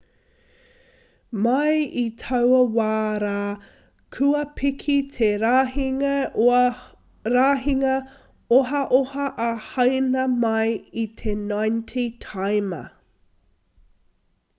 mai i taua wā rā kua piki te rahinga ohaoha a haina mai i te 90 taima